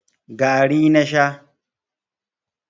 gari na Sha